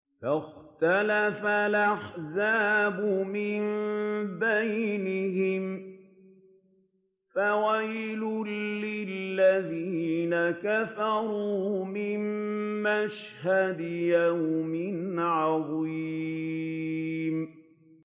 فَاخْتَلَفَ الْأَحْزَابُ مِن بَيْنِهِمْ ۖ فَوَيْلٌ لِّلَّذِينَ كَفَرُوا مِن مَّشْهَدِ يَوْمٍ عَظِيمٍ